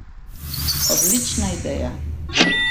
Odlična ideja!